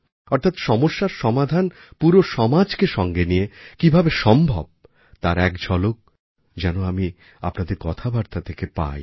অর্থাৎ সমস্যার সমাধান পুরো সমাজকে সঙ্গে নিয়ে কীভাবে সম্ভব তার এক ঝলক যেন আমি আপনাদের কথাবার্তা থেকে পাই